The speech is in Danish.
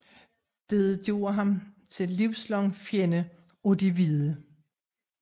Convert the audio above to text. Dette gjorde ham til livslang fjende af de hvide